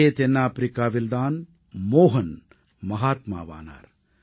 இதே தென்னாப்பிரிக்காவில் தான் மோஹன் மஹாத்மாவானார்